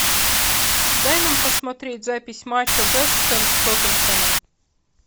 дай нам посмотреть запись матча вест хэм с тоттенхэмом